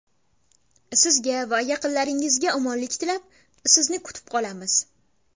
Sizga va yaqinlaringizga omonlik tilab, sizni kutib qolamiz!